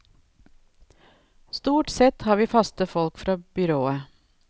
Stort sett har vi faste folk fra byrået.